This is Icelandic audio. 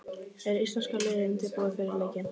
Er íslenska liðið undirbúið fyrir leikinn?